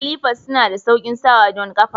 Slifers suna da sauƙin sawa don kafa.